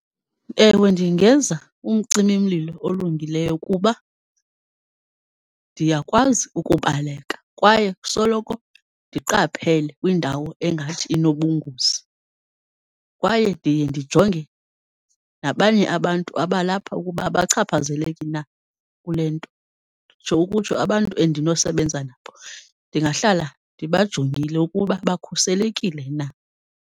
Ewe, ndingenza umcimi-mlilo olungileyo kuba ndiyakwazi ukubaleka kwaye soloko ndiqaphele kwindawo engathi inobungozi, kwaye ndiye ndijonge nabanye abantu abalapha ukuba abachaphazeleki na kule nto. Nditsho ukutsho abantu endinosebenza nabo ndingahlala ndibajongile ukuba bakhuselekile na.